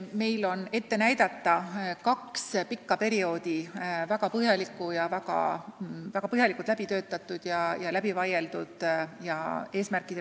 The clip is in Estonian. Meil on ette näidata kahe pika perioodi arengukavad, mille eesmärgid eesti keele valdkonnas on väga põhjalikult läbi töötatud ja läbi vaieldud.